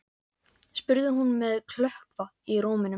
spurði hún með klökkva í rómnum.